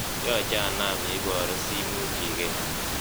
yoche anaam yeiboru simuch iker